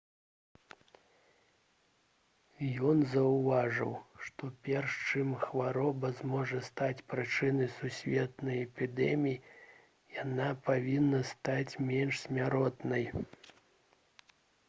ён заўважыў што перш чым хвароба зможа стаць прычынай сусветнай эпідэміі яна павінна стаць менш смяротнай